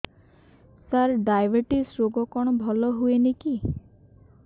ସାର diabetes ରୋଗ କଣ ଭଲ ହୁଏନି କି